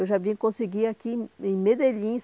Eu vim a conseguir aqui, em Medellín,